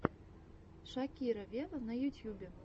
шакира вево на ютьюбе